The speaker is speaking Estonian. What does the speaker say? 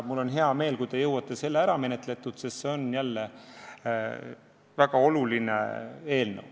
Mul on hea meel, kui te jõuate selle ära menetleda, sest see on väga oluline eelnõu.